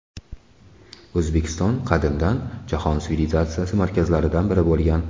O‘zbekiston qadimdan jahon sivilizatsiyasi markazlaridan biri bo‘lgan.